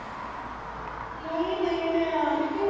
ਨਈ-ਨਈ ਮੈਂ ਨੀ ਫੇਰ।